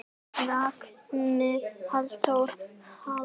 Ragnar Halldór Hall.